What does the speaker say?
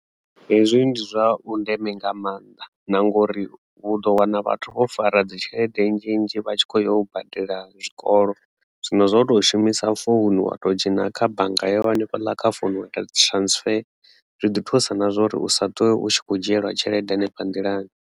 Hezwi ndi zwa vhundeme nga maanḓa na ngori vhu ḓo wana vhathu vho fara dzi tshelede nzhinzhi vha tshi kho yo badela zwikolo zwino zwo to shumisa founu wa to dzhena kha bannga yau hanefhaḽa kha founu wa ita dzi transfer zwi ḓi thusa na zwa uri u sa ṱuwe u tshi kho dzhiela tshelede hanefha nḓilani.